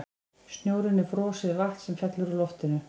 Snjórinn er frosið vatn sem fellur úr loftinu.